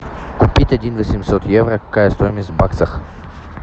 купить один восемьсот евро какая стоимость в баксах